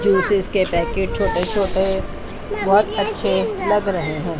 Juices के packet छोटे छोटे बहोत अच्छे लग रहें हैं।